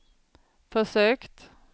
försökt